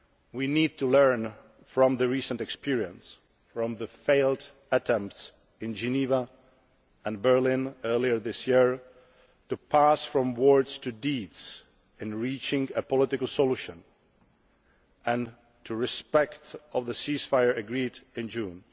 We need to learn from recent experience, from the failed attempts in Geneva and Berlin earlier this year, to pass from words to deeds in reaching a political solution, and to respect the ceasefire agreed in June.